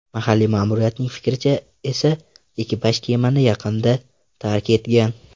Mahalliy ma’muriyatning fikricha esa, ekipaj kemani yaqinda tark etgan.